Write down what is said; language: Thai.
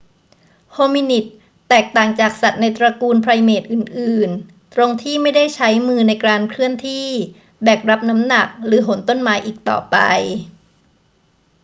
โฮมินิดส์แตกต่างจากสัตว์ในตระกูลไพรเมตอื่น ๆ ตรงที่ไม่ได้ใช้มือในการเคลื่อนที่ แบกรับน้ำหนัก หรือโหนต้นไม้อีกต่อไป